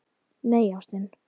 Nei, ástin.